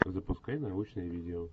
запускай научное видео